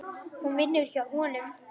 Hún vinnur hjá honum.